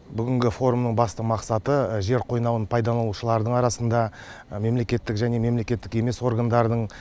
бүгінгі форумның басты мақсаты жер қойнауын пайдаланушылардың арасында мемлекеттік және мемлекеттік емес органдардың